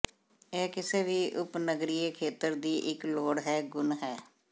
ਇਹ ਕਿਸੇ ਵੀ ਉਪਨਗਰੀਏ ਖੇਤਰ ਦੀ ਇੱਕ ਲੋੜ ਹੈ ਗੁਣ ਹੈ